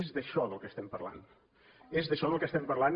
és d’això del que estem parlant és d’això del que estem parlant